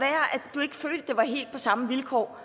du ikke følte det var helt på samme vilkår